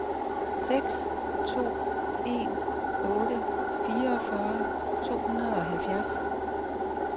seks to en otte fireogfyrre to hundrede og halvfjerds